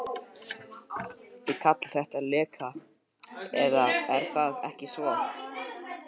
Þið kallið þetta leka, eða er það ekki svo.